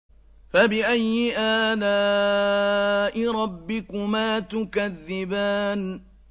فَبِأَيِّ آلَاءِ رَبِّكُمَا تُكَذِّبَانِ